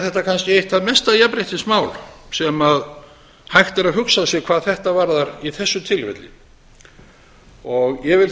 þetta kannski eitt það mesta jafnréttismál sem hægt er að hugsa sér hvað þetta varðar í þessu tilfelli ég vil